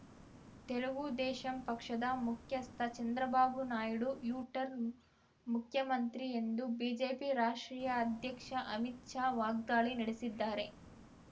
ತೆಲುಗುದೇಶಂ ಪಕ್ಷದ ಮುಖ್ಯಸ್ಥ Chandrababu Naidu U turn ಮುಖ್ಯಮಂತ್ರಿ ಎಂದು ಬಿಜೆಪಿ ರಾಷ್ಟ್ರೀಯ ಅಧ್ಯಕ್ಷ ಅಮಿತ್‌ ಶಾ ವಾಗ್ದಾಳಿ ನಡೆಸಿದ್ದಾರೆ